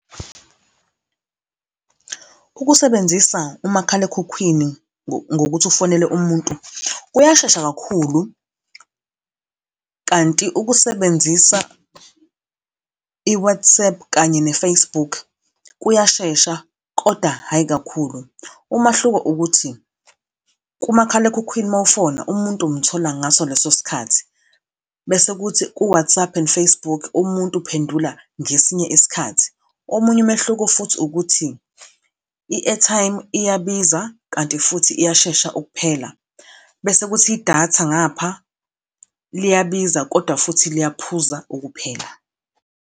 Ukusebenzisa umakhalekhukhwini ngokuthi ufonele umuntu, kuyashesha kakhulu, kanti ukusebenzisa i-WhatsApp kanye ne-Facebook kuyashesha, kodwa hhayi kakhulu. Umahluko ukuthi kumakhalekhukhwini mowufona, umuntu umthola ngaso leso sikhathi. Bese kuthi ku-WhatsApp and Facebook, umuntu uphendula ngesinye isikhathi. Omunye umehluko futhi ukuthi, i-airtime iyabiza kanti futhi iyashesha ukuphela bese kuthi idatha ngapha, liyabiza kodwa futhi liyaphuza ukuphela.